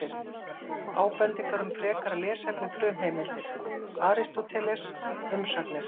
Ábendingar um frekara lesefni Frumheimildir: Aristóteles, Umsagnir.